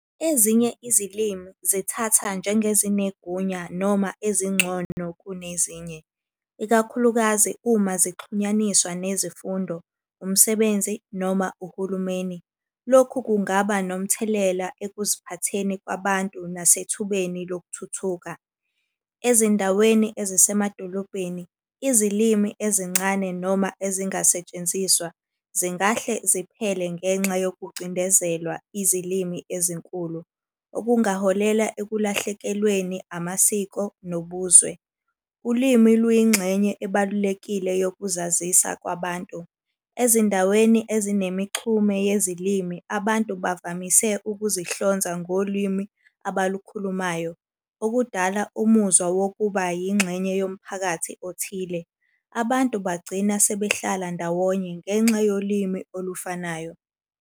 Ezinye izilimi zithatha njengezinegunya noma ezingcono kunezinye, ikakhulukazi uma zixhunyaniswa nezifundo, umsebenzi noma uhulumeni. Lokhu kungaba nomthelela ekuziphatheni kwabantu nasethubeni lokuthuthuka. Ezindaweni ezisemadolobhedeni, izilimi ezincane noma ezingasetshenziswa zingahle ziphele ngenxa yokucindezelwa izilimi ezinkulu. Okungaholela ekulahlekelweni amasiko nobuzwe. Ulimi luyingxenye ebalulekile yokuzazisa kwabantu. Ezindaweni ezinemixhume yezilimi abantu bavamise ukuzihlonza ngolwimi abalukhulumayo, okudala umuzwa wokuba yingxenye yomphakathi othile. Abantu bagcina sebehlala ndawonye ngenxa yolimi olufanayo.